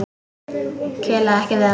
Kelaði ekki við hann.